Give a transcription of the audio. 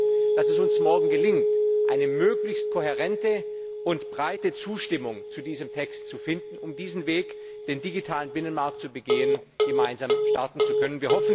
Ich hoffe, dass es uns morgen gelingt, eine möglichst kohärente und breite Zustimmung zu diesem Text zu finden, um diesen Weg zum digitalen Binnenmarkt gemeinsam starten zu können.